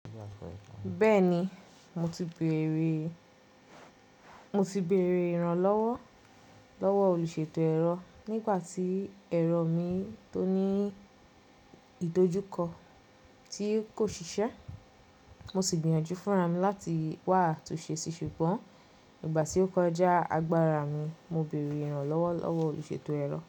Bẹ́ẹ̀ni, mo ti bèèrè, mo ti bèèrè ìrànlọ́wọ́ lọ́wọ́ olùṣètò ẹ̀rọ nígbà tí ẹ̀rọ mi tó ní ìdojúkọ tí kò ṣiṣẹ́. Mo sì gbìyànjú fún ra mi láti wá atún ṣe sí ṣùgbọ́n nígbà tí ó kọjá agbára mi, mo bèèrè ìrànlọ́wọ́ lọ́wọ́ olùṣètò ẹ̀rọ.